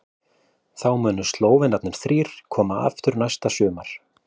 Þá munu Slóvenarnir þrír koma aftur næsta sumar.